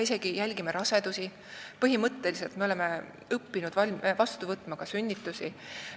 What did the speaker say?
Me jälgime rasedusi, põhimõtteliselt me oleme õppinud vastu võtma ka sünnitusi.